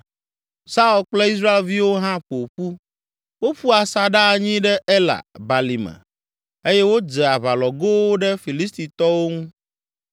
Saul kple Israelviwo hã ƒo ƒu, woƒu asaɖa anyi ɖe Ela balime eye wodze aʋalɔgowo ɖe Filistitɔwo ŋu.